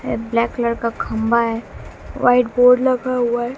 Black colour का खंभा है व्हाइट बोर्ड लगा हुआ है।